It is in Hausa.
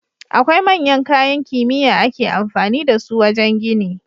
Akwai manyan kayan kimiya ake amfani da su wajan gini